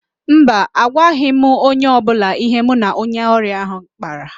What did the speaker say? Mba, agwaghị m onye ọbụla ihe mụ na onye ọrịa ahụ kpara